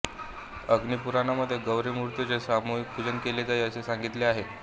अग्निपुराणामध्ये गौरी मूर्तीचे सामूहिक पूजन केले जाई असे सांगितले आहे